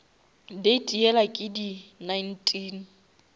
date yela ke di nineteen